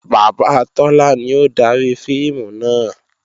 Bàbá Tọ́lá ni ó dari fíìmù náà